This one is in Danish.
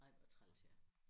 Ej hvor træls ja